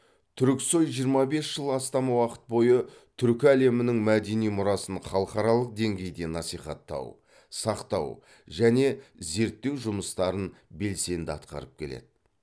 түрксой жиырма бес жыл астам уақыт бойы түркі әлемінің мәдени мұрасын халықаралық деңгейде насихаттау сақтау және зерттеу жұмыстарын белсенді атқарып келеді